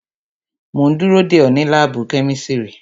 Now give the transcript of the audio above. Mo ń dúró dè ọ́ ní láàbù kẹ́mísírì